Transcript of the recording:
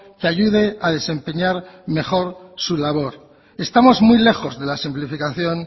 que ayude a desempeñar mejor su labor estamos muy lejos de la simplificación